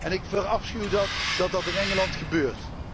En ik verafschuw het dat dat in Engeland gebeurt.